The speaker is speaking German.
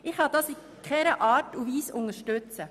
Ich kann dies auf keine Art und Weise unterstützen.